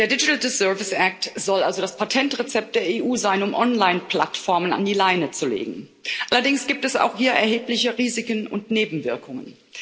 Der soll also das Patentrezept der EU sein, um Online Plattformen an die Leine zu legen. Allerdings gibt es auch hier erhebliche Risiken und Nebenwirkungen.